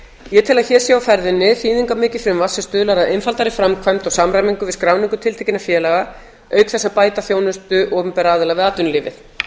ég tel að hér sé á ferðinni þýðingarmikið frumvarp sem stuðlar að einfaldari framkvæmd og samræmingu við skráningu tiltekinna félaga auk þess að bæta þjónustu opinberra aðila við atvinnulífið